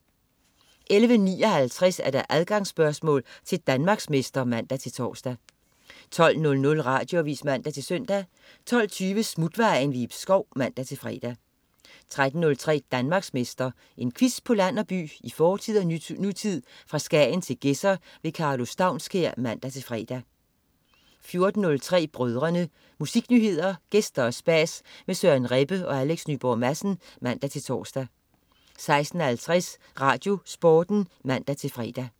11.59 Adgangsspørgsmål til Danmarksmester (man-tors) 12.00 Radioavis (man-søn) 12.20 Smutvejen. Ib Schou (man-fre) 13.03 Danmarksmester. En quiz på land og by, i fortid og nutid, fra Skagen til Gedser. Karlo Staunskær (man-fre) 14.03 Brødrene. Musiknyheder, gæster og spas med Søren Rebbe og Alex Nyborg Madsen (man-tors) 16.50 RadioSporten (man-fre)